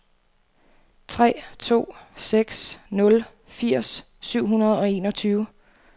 tre to seks nul firs syv hundrede og enogtyve